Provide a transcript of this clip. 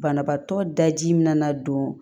Banabaatɔ daji min na na don